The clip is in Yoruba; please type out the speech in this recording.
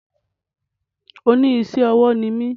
Oní isé ọwọ́ ni mí